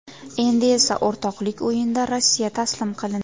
Endi esa o‘rtoqlik o‘yinida Rossiya taslim qilindi.